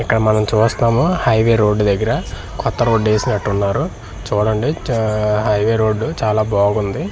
ఇక్కడ మనం చూస్తున్నాము హైవే రోడ్ దెగ్గర కొత్త రోడ్ వేసినట్లు ఉన్నారు చూడండి చా హైవే రోడ్ చాలా బాగుంది ఆఆ.